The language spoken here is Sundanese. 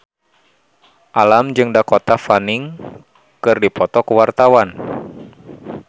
Alam jeung Dakota Fanning keur dipoto ku wartawan